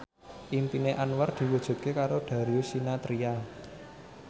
impine Anwar diwujudke karo Darius Sinathrya